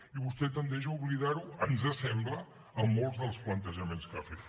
i vostè tendeix a oblidar ho ens sembla en molts dels plantejaments que ha fet